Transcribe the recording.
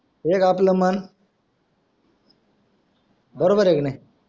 एक आपला मन बरोबर आहे कि नाही